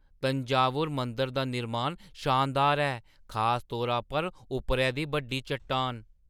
तंजावुर मंदरै दा निर्माण शानदार ऐ, खास तौरा पर उप्परै दी बड्डी चट्टान।